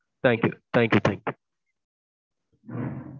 thank you. thank you thank you.